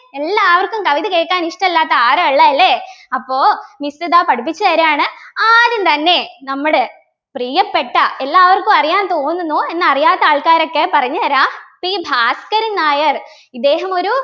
എല്ലാവർക്കും കവിത കേക്കാൻ ഇഷ്ടല്ലാത്ത ആരാ ഉള്ളെ അല്ലേ അപ്പൊ miss ഇതാവും പഠിപ്പിച്ചു തരാണ് ആദ്യം തന്നെ നമ്മടെ പ്രിയപ്പെട്ട എല്ലാവർക്കും അറിയാ തോന്നുന്നു എന്നാൽ അറിയാത്ത ആൾക്കാർക്കൊക്കെ പറഞ്ഞുതരാ P ഭാസ്കരൻ നായർ ഇദ്ദേഹം ഒരു